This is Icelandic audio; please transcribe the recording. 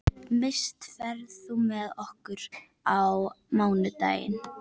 Mist, ferð þú með okkur á mánudaginn?